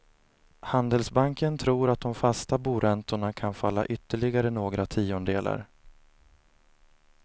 Handelsbanken tror att de fasta boräntorna kan falla ytterligare några tiondelar.